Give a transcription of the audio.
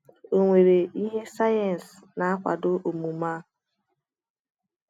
Ọ nwere ihe sayensị na-akwado omume a?